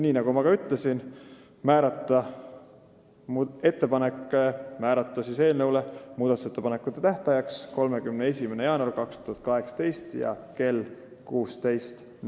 Nii nagu ma juba ütlesin, otsustati määrata muudatusettepanekute tähtajaks 31. jaanuar 2018 kell 16.